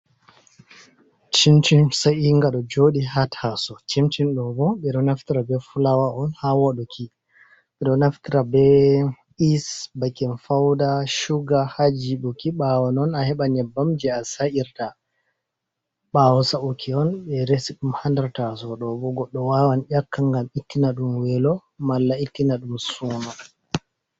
Cimcin sa'inga ɗo jooɗi haa tasowo, cimcin ɗo bo ɓe ɗo naftira be fulaawa on haa waɗuki .Ɓe ɗo naftira be iis, bakin fawda, cuga haa jiɓuki .Ɓaawo non a heɓa nyebbam jey a sa’irta, ɓaawo sa'uki on ɓe resi ɗum a nder tasowo ɗo bo ,goɗɗo wawan ƴakka ngam ittina ɗum weelo malla ittina ɗum suuno.